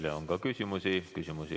Teile on ka küsimusi.